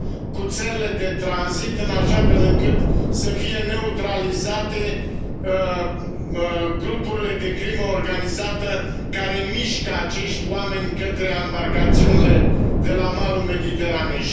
cu țările de tranzit, în așa fel încât să fie neutralizate grupurile de crimă organizată care mișcă acești oameni către ambarcațiunile de la malul Mediteranei.